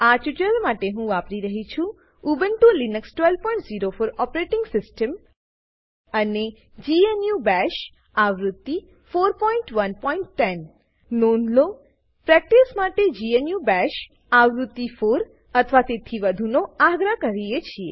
આ ટ્યુટોરીયલ માટે હું વાપરી રહ્યી છું ઉબ્નટુ લીનક્સ 1204 ઓપરેટીંગ સિસ્ટમ અને જીએનયુ બાશ આવૃત્તિ 4110 નોંધ લો પ્રેક્ટીસ માટે જીએનયુ બાશ આવૃત્તિ 4 અથવા તેથી વધુનો આગ્રહ કરીએ છીએ